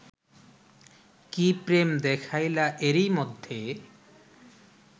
কি প্রেম দেখাইলা এরই মধ্যে